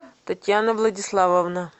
татьяна владиславовна